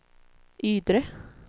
Ydre